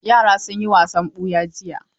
Yara sun yi wasan ɓuya jiya.